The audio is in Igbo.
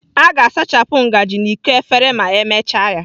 A ga-asachapụ ngaji na iko efere ma emechaa ya.